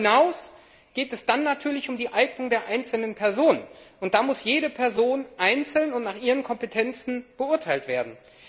Aber darüber hinaus geht es dann natürlich um die Eignung der einzelnen Personen, und da muss jede Person einzeln und nach ihren Kompetenzen beurteilt werden.